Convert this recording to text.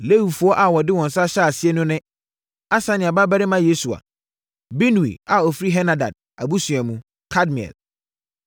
Lewifoɔ a wɔde wɔn nsa hyɛɛ aseɛ no ne: Asania babarima Yesua, Binui a ɔfiri Henadad abusua mu, Kadmiel,